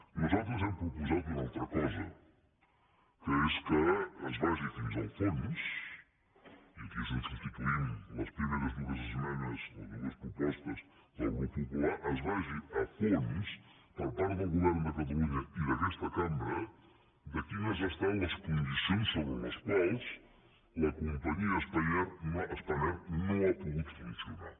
nosaltres hem proposat una altra cosa que és que es vagi fins al fons i aquí és on substituïm les primeres dues esmenes o dues propostes del grup popular es vagi a fons per part del govern de catalunya i d’aquesta cambra de quines han estat les condicions per les quals la companyia spanair no ha pogut funcionar